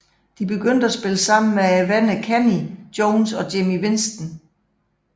De begyndte at spille sammen med vennerne Kenney Jones og Jimmy Winston